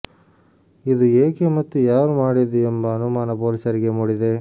ಇದು ಏಕೆ ಮತ್ತು ಯಾರು ಮಾಡಿದ್ದು ಎಂಬ ಅನುಮಾನ ಪೊಲೀಸರಿಗೆ ಮೂಡಿದೆ